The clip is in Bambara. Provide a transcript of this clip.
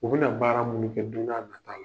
U bɛna baara munn kɛ don n'a nata la.